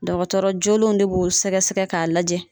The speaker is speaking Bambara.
Dɔgɔtɔrɔ jolen de b'o sɛgɛsɛgɛ k'a lajɛ